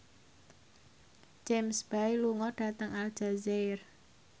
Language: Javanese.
James Bay lunga dhateng Aljazair